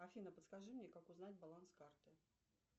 афина подскажи мне как узнать баланс карты